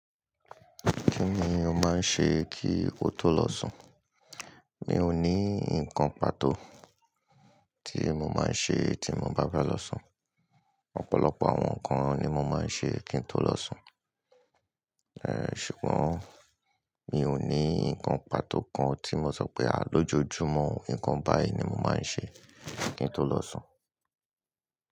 Kíni ó máa ń ṣe kí o tó lọ sùn? Mi ò ní nǹkan pàtó tí mo máa ń ṣe tí mo bá fe lọ sùn. Ọ̀pọ̀lọpọ̀ àwọn nǹkan ni mo máa ń ṣe kí n tó lọ sùn. Ṣùgbọ́n mi ò ní nǹkan pàtó kan tí mo sọ pé à lójoojúmó, nǹkan báyìí ni mo máa ń ṣe kí n tó lọ sùn.